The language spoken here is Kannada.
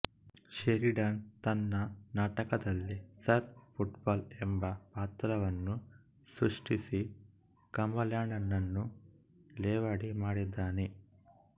ಷೆರಿಡನ್ ತನ್ನ ನಾಟಕದಲ್ಲಿ ಸರ್ ಫ್ರೆಟ್ಫುಲ್ ಎಂಬ ಪಾತ್ರವನ್ನು ಸೃಷ್ಟಿಸಿ ಕಂಬರ್ಲ್ಯಾಂಡನನ್ನು ಲೇವಡಿಮಾಡಿದ್ದಾನೆ